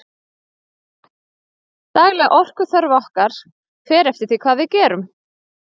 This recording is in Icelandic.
dagleg orkuþörf okkar fer eftir því hvað við gerum